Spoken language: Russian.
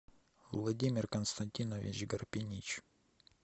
владимир константинович гарпинич